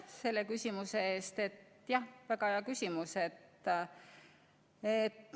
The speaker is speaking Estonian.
Aitäh küsimuse eest, väga hea küsimus!